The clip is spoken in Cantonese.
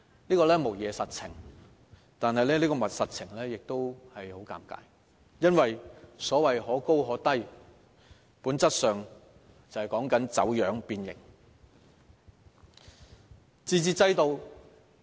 這無疑是實情，但這個實情也十分尷尬，因為所謂的可高可低，本質上說的便是走樣、變形。